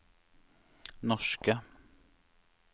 norske